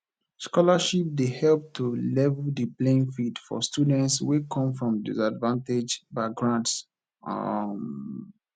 scholarships dey help to level di playing field for students wey come from disadvanged backgrounds um